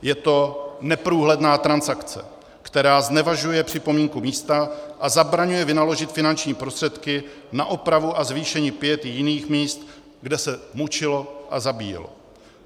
Je to neprůhledná transakce, která znevažuje připomínku místa a zabraňuje vynaložit finanční prostředky na opravdu a zvýšení piety jiných míst, kde se mučilo a zabíjelo.